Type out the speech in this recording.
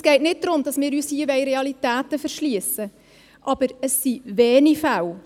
Es geht nicht darum, dass wir uns hier Realitäten verschliessen wollen, aber es sind wenige Fälle.